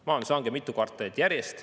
Majandus langeb mitu kvartalit järjest.